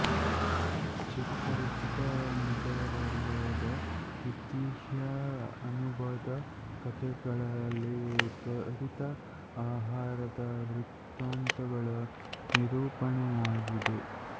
ಚಿರಪರಿಚಿತ ನಗರವಲಯದ ಐತಿಹ್ಯ ಅನುಭದ ಕಥೆಗಳಲ್ಲಿ ತ್ವರಿತ ಆಹಾರದ ವೃತ್ತಾಂತಗಳ ನಿರೂಪಣೆಯಾಗಿದೆ